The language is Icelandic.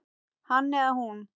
Hann eða hún